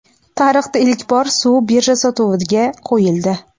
Tarixda ilk bor suv birja sotuviga qo‘yildi.